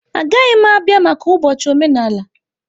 Agaghị m abịa maka ụbọchị omenala.